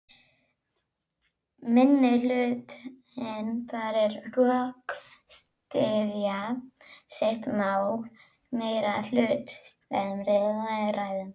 Minnihlutinn þarf að rökstyðja sitt mál, meirihlutinn ræður.